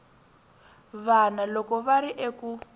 vana loko va ri eku